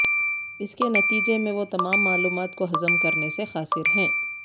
اس کے نتیجے میں وہ تمام معلومات کو ہضم کرنے سے قاصر ہیں